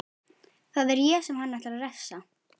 Það er ég sem hann ætlar að refsa.